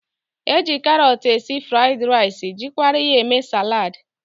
E ji karọt esi fụraịd rice jirikwa ya eme saladị.